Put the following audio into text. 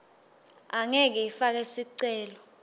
angeke ifake sicelo